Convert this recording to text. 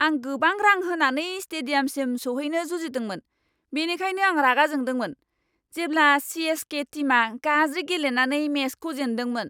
आं गोबां रां होनानै स्टेडियामसिम सौहैनो जुजिदोंमोन, बेनिखायनो आं रागा जोंदोंमोन जेब्ला सि.एस.के. टिमआ गाज्रि गेलेनानै मेचखौ जेनदोंमोन।